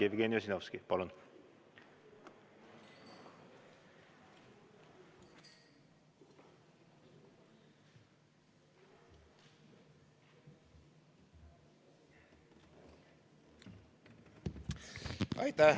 Jevgeni Ossinovski, palun!